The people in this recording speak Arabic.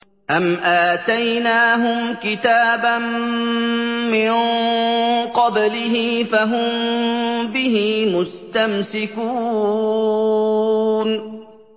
أَمْ آتَيْنَاهُمْ كِتَابًا مِّن قَبْلِهِ فَهُم بِهِ مُسْتَمْسِكُونَ